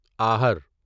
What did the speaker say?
آہر